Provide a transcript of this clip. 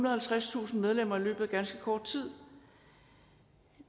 og halvtredstusind medlemmer i løbet af ganske kort tid